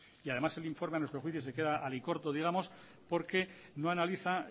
y además el informe a nuestro juicio se queda alicorto digamos porque no analiza